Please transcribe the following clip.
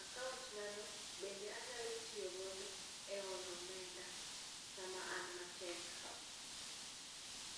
Akaontnano, bende anyalo tiyogo e holo omenda, sama an matedk.